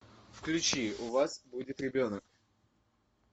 включи у вас будет ребенок